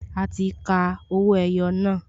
A ti ka owó ẹyọ náà